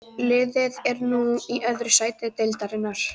Liðið er nú í öðru sæti deildarinnar.